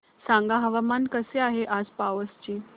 सांगा हवामान कसे आहे आज पावस चे